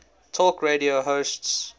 talk radio hosts